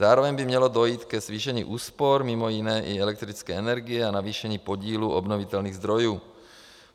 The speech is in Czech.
Zároveň by mělo dojít ke zvýšení úspor, mimo jiné i elektrické energie, a navýšení podílu obnovitelných zdrojů.